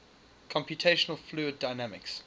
computational fluid dynamics